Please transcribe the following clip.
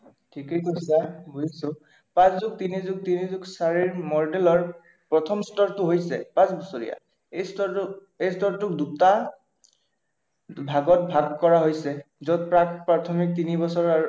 ঠিকেই কৈছা, বুজিছো। পাঁচ যোগ তিনি যোগ তিনি যোগ চাৰি মডেলৰ প্ৰথম স্তৰটো হৈছে পাঁচবছৰীয়া। এই স্তৰটো দুটা ভাগত ভাগ কৰা হৈছে যত প্ৰাক-প্ৰাথমিক তিনি বছৰৰ আৰু